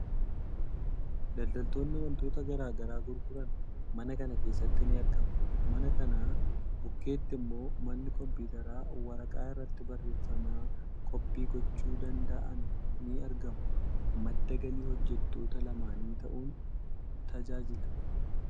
Daldaltoonni waantota garaa garaa gurguran mana kana keessatti ni argamu. Mana kana bukkeetti immoo manni kompiitaraa waraqaa irratti barreeffama koppii gochuu danda'an ni argama. Madda galii hojjettoota lamaanii ta'uun tajaajila.